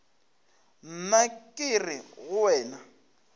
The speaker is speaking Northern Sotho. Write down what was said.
nna ke re go wena